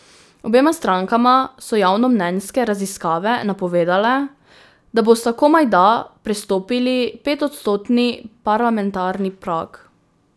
Obema strankama so javnomnenjske raziskave napovedovale, da bosta komajda prestopili petodstotni parlamentarni prag.